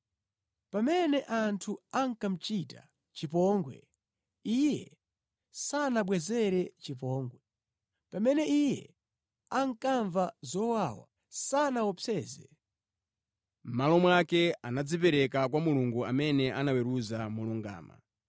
Pamene anthu ankamuchita chipongwe, Iye sanabwezere chipongwe, pamene Iye ankamva zowawa, sanaopseze. Mʼmalo mwake, anadzipereka kwa Mulungu amene amaweruza molungama.